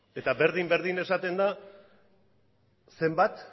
eta berdin berdin esaten da zenbat